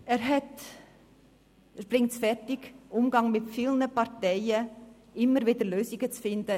Er bringt es fertig, im Umgang mit unterschiedlichen Parteien immer wieder Lösungen zu finden.